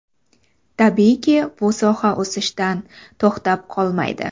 Tabiiyki, bu soha o‘sishdan to‘xtab qolmaydi.